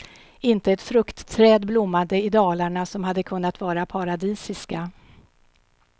Inte ett fruktträd blommade i dalarna, som hade kunnat vara paradisiska.